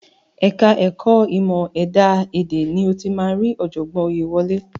Ẹ̀ka ẹ̀kọ́ ìmọ̀ ẹ̀dá èdè ni o máa ti rí ọ̀jọ̀gbọ́n Oyèwálé.